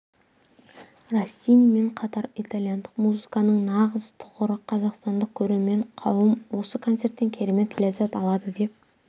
россинимен қатар итальяндық музыканың нағыз тұғыры қазақстандық көрермен қауым осы концерттен керемет ләззат алады деп